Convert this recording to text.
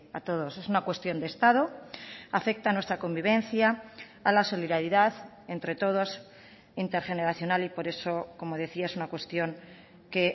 a todos es una cuestión de estado afecta a nuestra convivencia a la solidaridad entre todos intergeneracional y por eso como decía es una cuestión que